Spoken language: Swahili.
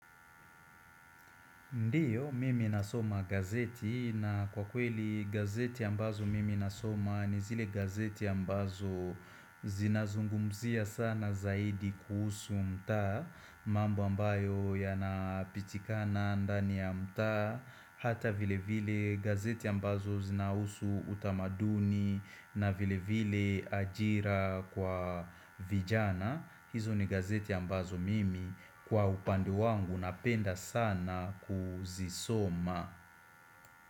Ndiyo, mimi nasoma gazeti na kwa kweli gazeti ya ambazo mimi nasoma ni zile gazeti ya ambazo zinazungumzia sana zaidi kuhusu mtaa mambo ambayo yanapatikana ndani ya mtaa Hata vile vile gazeti ya ambazo zinahusu utamaduni na vile vile ajira kwa vijana hizo ni gazeti ambazo mimi kwa upande wangu napenda sana kuzisoma.